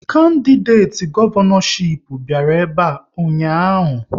Kandideti gọvanọchip bịara ebe a ụnyaahụ